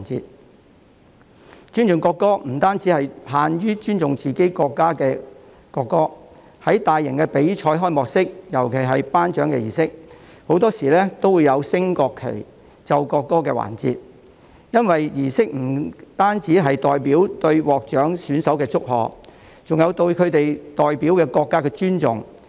說到尊重國歌，其實不限於尊重自己國家的國歌，在大型比賽的開幕式及頒獎儀式中，很多時都會有升國旗、奏國歌的環節，因為這些儀式不僅是對獲獎選手的祝賀，亦是對其代表國家的尊重。